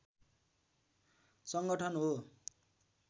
सङ्गठन हो